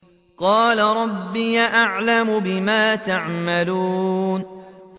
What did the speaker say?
قَالَ رَبِّي أَعْلَمُ بِمَا تَعْمَلُونَ